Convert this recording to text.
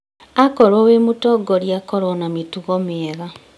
Akorwo wĩ mũtongoria korwo na mĩtugo miega